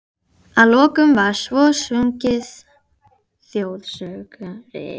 Að lokum var svo sunginn þjóðsöngurinn.